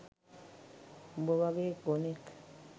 උඹ වගේ ගොනෙක්